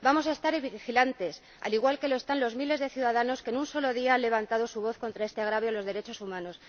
Vamos a estar vigilantes, al igual que lo están los miles de ciudadanos que en un solo día han levantado su voz contra este agravio a los derechos humanos.